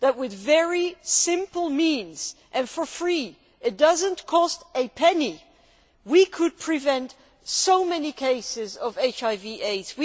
With very simple means and for free it does not cost a penny we could prevent so many cases of HIV AIDS.